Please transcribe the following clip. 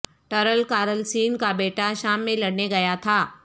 ٹارل Carlsen کا بیٹا شام میں لڑنے گیا تھا